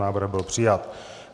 Návrh byl přijat.